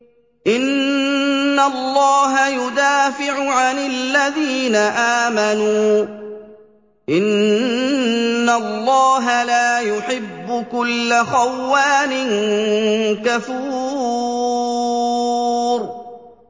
۞ إِنَّ اللَّهَ يُدَافِعُ عَنِ الَّذِينَ آمَنُوا ۗ إِنَّ اللَّهَ لَا يُحِبُّ كُلَّ خَوَّانٍ كَفُورٍ